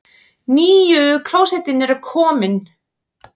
NÝJU KLÓSETTIN KOMIN!